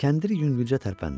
Kəndir yüngülcə tərpəndi.